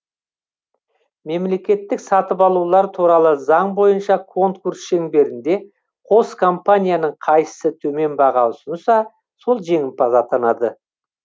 мемлекеттік сатып алулар туралы заң бойынша конкурс шеңберінде қос компанияның қайсысы төмен баға ұсынса сол жеңімпаз атанады